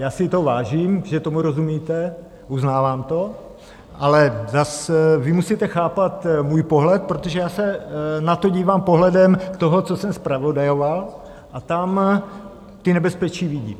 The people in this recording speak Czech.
Já si toho vážím, že tomu rozumíte, uznávám to, ale zase vy musíte chápat můj pohled, protože já se na to dívám pohledem toho, co jsem zpravodajoval, a tam ta nebezpečí vidím.